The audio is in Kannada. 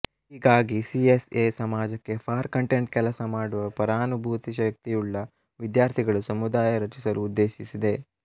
ಹೀಗಾಗಿ ಸಿಎಸ್ಎ ಸಮಾಜಕ್ಕೆ ಫಾರ್ ಕಂಟೆಂಟ್ ಕೆಲಸ ಮಾಡುವ ಪರಾನುಭೂತಿ ಶಕ್ತಿಯುಳ್ಳ ವಿದ್ಯಾರ್ಥಿಗಳು ಸಮುದಾಯ ರಚಿಸಲು ಉದ್ದೇಶಿಸಿದೆ